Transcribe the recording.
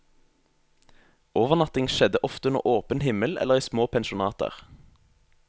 Overnatting skjedde ofte under åpen himmel eller i små pensjonater.